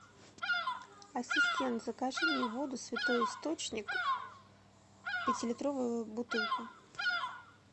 ассистент закажи мне воду святой источник пятилитровую бутылку